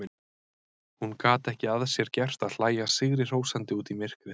Hún gat ekki að sér gert að hlæja sigrihrósandi út í myrkrið.